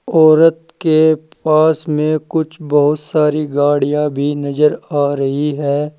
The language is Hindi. औरत के पास में कुछ बहोत सारी गाड़ियां भी नजर आ रही है।